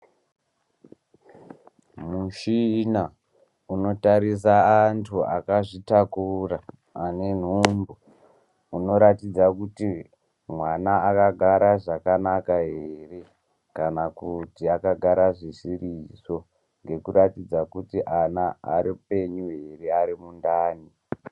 Muchina unotarisa anhu akazvitakura ane nhumbu unoratidza kuti mwana akagara zvakanaka ere kana kuti akagara zvisirizvo ngekuratidza kuti kuti ana apenyu here arimundani.